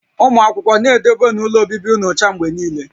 Ụmụ akwụkwọ, na-edobenu ụlọ obibi ụnụ ọcha mgbe niile!